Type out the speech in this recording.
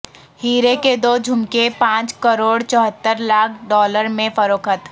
ہیرے کے دو جھمکے پانچ کروڑ چوہتر لاکھ ڈالر میں فروخت